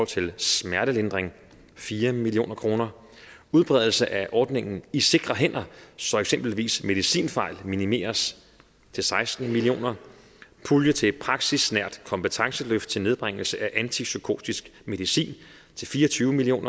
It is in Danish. til smertedækning fire million kroner udbredelse af ordningen i sikre hænder så eksempelvis medicinfejl minimeres til seksten million kroner pulje til praksisnært kompetenceløft til nedbringelse af antipsykotisk medicin til fire og tyve million